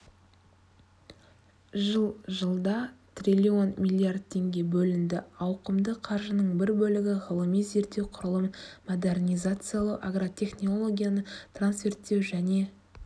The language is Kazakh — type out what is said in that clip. жыл жылда триллион миллиард теңге бөлінді ауқымды қаржының бір бөлігі ғылыми-зерттеу құрылымын модернизациялау агротехнологияны трансферттеу және